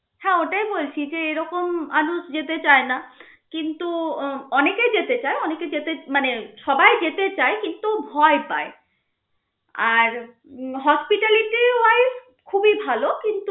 হ্যা ওটাই বলছি যে এই রকম মানুষ যেতে চায় না. কিন্তু অনেকেই যেতে চায়. অনেকে যেতে মানে সবাই যেতে চায় কিন্তু ভয় পায় আর উম hospitality ওই খুবই ভাল কিন্তু